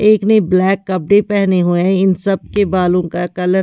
एक ने ब्लैक कपड़े पेहने हुए हैं इन सब के बालों का कलर --